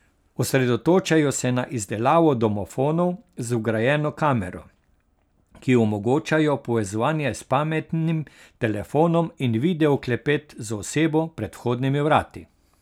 Osredotočajo se na izdelavo domofonov z vgrajeno kamero, ki omogočajo povezovanje s pametnim telefonom in video klepet z osebo pred vhodnimi vrati.